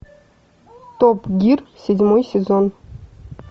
топ гир седьмой сезон